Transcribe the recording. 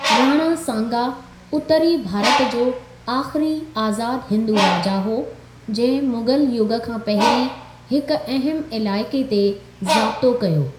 राणा सांगा उत्तरी भारत जो आखिरी आज़ाद हिंदू राजा हो, जंहिं मुग़ल युग खां पहिरी हिक अहिम इलाइके ते जाब्तो कयो।